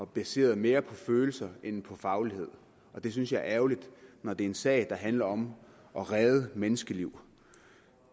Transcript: baseret mere på følelser end på faglighed det synes jeg er ærgerligt når det er en sag der handler om at redde menneskeliv